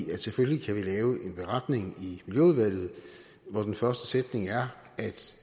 vi selvfølgelig kan lave en beretning i miljøudvalget hvor den første sætning er at